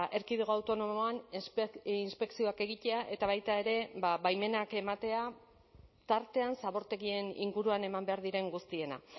erkidego autonomoan inspekzioak egitea eta baita ere baimenak ematea tartean zabortegien inguruan eman behar diren guztiena